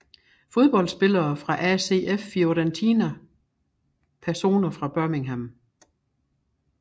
Fodboldspillere fra ACF Fiorentina Personer fra Birmingham